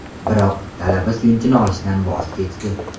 Biroq talaba suyunchini olishdan voz kechdi.